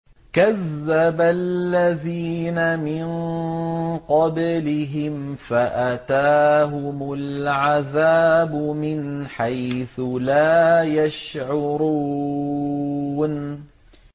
كَذَّبَ الَّذِينَ مِن قَبْلِهِمْ فَأَتَاهُمُ الْعَذَابُ مِنْ حَيْثُ لَا يَشْعُرُونَ